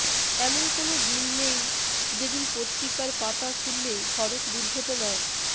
এমন কোনো দিন নেই যেদিন পত্রিকার পাতা খুললে সড়ক দুর্ঘটনায়